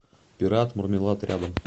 пират мармелад рядом